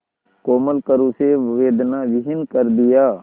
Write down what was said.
कोमल करों से वेदनाविहीन कर दिया